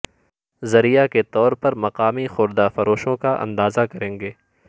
ذریعہ کے طور پر مقامی خوردہ فروشوں کا اندازہ کریں